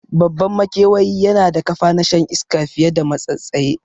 Babban makewayi na da kafa na shan iska fiye da matsatstse